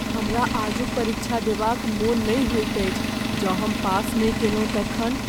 हमरा आजुक क परीक्षा देबा क मन नहि होइत अछि। जँ हम पास नहि कयलहुँ तखन ?